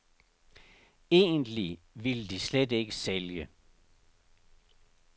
Egentlig ville de slet ikke sælge.